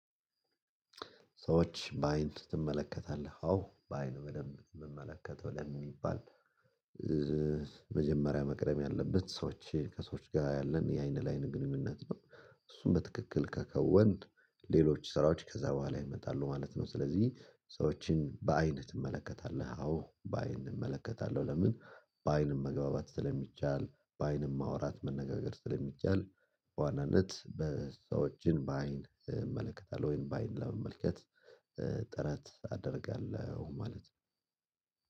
ሰዎች በአይን ትመለከታለህ አዎ በአይን በደንብ የምመለከተው ለሚባል መጀመሪያ መቅረብ ያለበት ሰዎች ከሰዎች ጋር ያለን የአይን ለአይን ግንኙነት ነው። እሱን በትክክል ከከወንት ሌሎች ስራዎች ከዛ በኋላ ይመጣሉ ማለት ነው። ስለዚህ ሰዎችን በአይነት ትመለከታለህ? አዎ በአይን እመለከታለሁ። ለምን በአይንም መግባባት ስለሚቻል በአይንም ማውራት መነጋገር ስለሚቻል። በዋናነት ሰዎችን በአይን እመለከታለሁ ወይም በአይን ለመመልከት ጥረት አደርጋለሁ። ማለት